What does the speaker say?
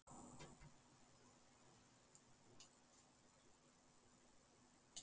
Hann er með frjótt ímyndunarafl.